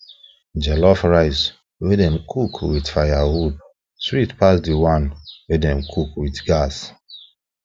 jollof rice wey dem cook with firewood sweet pass the one wey dem cook with gas